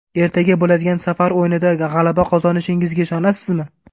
Ertaga bo‘ladigan safar o‘yinida g‘alaba qozonishingizga ishonasizmi?